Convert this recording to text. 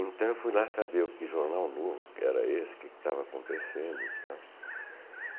Então fui lá saber o que Jornal Novo, era esse, o que estava acontecendo e tal